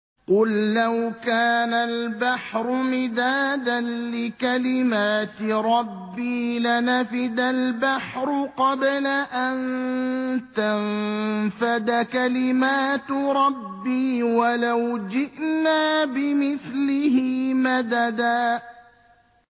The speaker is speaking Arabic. قُل لَّوْ كَانَ الْبَحْرُ مِدَادًا لِّكَلِمَاتِ رَبِّي لَنَفِدَ الْبَحْرُ قَبْلَ أَن تَنفَدَ كَلِمَاتُ رَبِّي وَلَوْ جِئْنَا بِمِثْلِهِ مَدَدًا